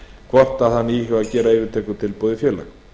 hvort hann íhugi að gera yfirtökutilboð í félag